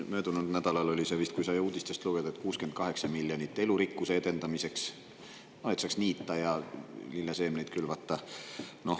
Möödunud nädalal oli see vist, kui sai uudistest lugeda, et 68 miljonit eurot elurikkuse edendamiseks, no et saaks niita ja lilleseemneid külvata.